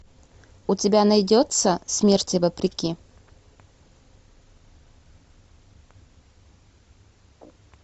у тебя найдется смерти вопреки